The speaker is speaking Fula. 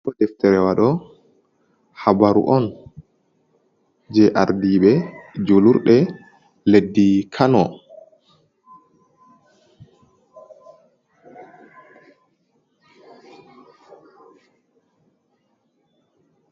Ɗobo deftere waɗo habaru on je ardiɓe julurɗe leddi Kano.